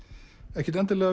ekkert endilega